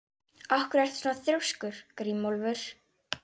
Af hverju ertu svona þrjóskur, Grímólfur?